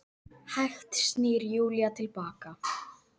Hægt snýr Júlía til baka.